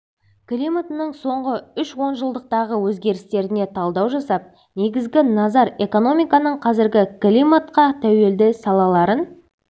климатының соңғы үш онжылдықтағы өзгерістеріне талдау жасап негізгі назар экономиканың қазіргі климатқа тәуелді салаларын